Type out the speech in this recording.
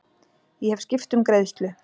Ég hef skipt um greiðslu.